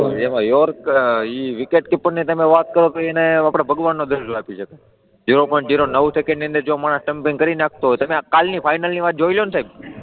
એમાં, વિકેટ કીપરની તમે વાત કરો તો એને આપણે ભગવાનનો દરજ્જો આપીએ સાહેબ, ઝીરો પોઈન્ટ ઝીરો નવ સેકન્ડની અંદર જો માણસ સ્ટમ્પિંગ કરી નાખતો હોય તો, તમે કાલની ફાઇનલની વાત જોઇ લો ને સાહેબ,